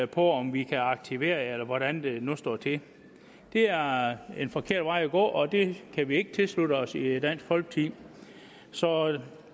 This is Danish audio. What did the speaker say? på om vi kan aktivere jer eller hvordan det nu står til det er en forkert vej at gå og det kan vi ikke tilslutte os i dansk folkeparti så